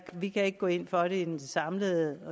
vi kan ikke gå ind for det samlede